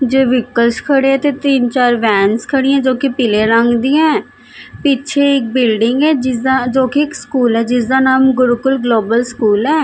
ਜੇ ਵ੍ਹੀਕਲਸ ਖੜੇ ਹੈਂ ਤੇ ਤਿੰਨ ਚਾਰ ਵੈਂਸ ਖੜੀ ਹੈਂ ਜੋਕਿ ਪੀਲੇ ਰੰਗ ਦੀਯਾਂ ਹੈਂ ਪਿੱਛੇ ਇੱਕ ਬਿਲਡਿੰਗ ਹੈ ਜਿਸਦਾ ਜੋਕਿ ਇੱਕ ਸਕੂਲ ਹੈ ਜਿਸਦਾ ਨਾਮ ਗੁਰੂਕੁਲ ਗਲੋਬਲ ਸਕੂਲ ਹੈ।